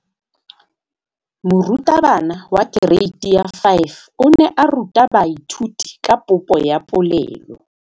Moratabana wa kereiti ya 5 o ne a ruta baithuti ka popô ya polelô.